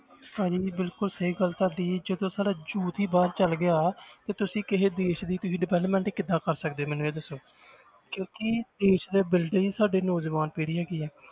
ਭਾਜੀ ਬਿਲਕੁਲ ਸਹੀ ਗੱਲ ਹੈ ਤੁਹਾਡੀ ਜਦੋਂ ਸਾਡਾ youth ਹੀ ਬਾਹਰ ਚਲੇ ਗਿਆ ਤੇ ਤੁਸੀਂ ਕਿਸੇ ਦੇਸ ਦੀ ਤੁਸੀਂ development ਕਿੱਦਾਂ ਕਰ ਸਕਦੇ ਹੋ ਮੈਨੂੰ ਇਹ ਦੱਸੋ ਕਿਉਂਕਿ ਦੇਸ ਦੇ builder ਹੀ ਸਾਡੀ ਨੌਜਵਾਨ ਪੀੜ੍ਹੀ ਹੈਗੀ ਹੈ,